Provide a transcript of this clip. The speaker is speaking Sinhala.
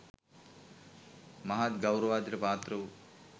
මහත් ගෞරවාදරයට පාත්‍ර වූ